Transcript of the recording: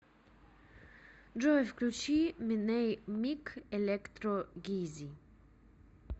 джой включи миней мик электро гизи